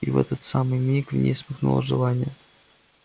и в этот самый миг в ней вспыхнуло желание